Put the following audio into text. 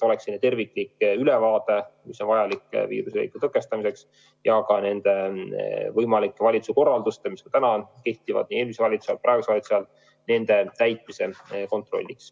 Nii on terviklik ülevaade, mis on vajalik viiruse leviku tõkestamiseks ja ka nii praegu kehtivate valitsuse korralduste kui ka võimalike uute täitmise kontrolliks.